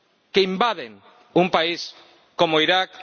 que invaden un país como Irak